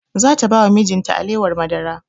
Za ta ba wa mijin ta alewar madara